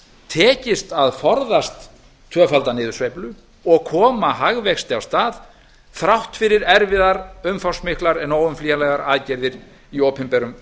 tekist að forðast tvöfalda niðursveiflu og koma hagvexti á stað þrátt fyrir erfiðar umfangsmiklar en óumflýjanlegar aðgerðir í opinberum